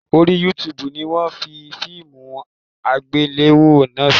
Orí YouTube ni wọ́n fi fíìmù àgbéléwò náà sí